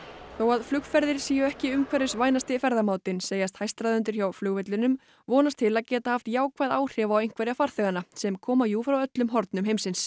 þó að flugferðir séu ekki umhverfisvænasti ferðamátinn segjast hæstráðendur hjá flugvellinum vonast til að geta haft jákvæð áhrif á einhverja farþeganna sem koma jú frá öllum hornum heimsins